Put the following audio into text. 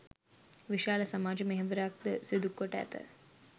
විශාල සමාජ මෙහෙවරක් ද සිදුකොට ඇත.